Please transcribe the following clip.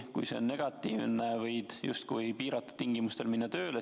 Kui see on negatiivne, võid justkui piiratud tingimustel tööle minna.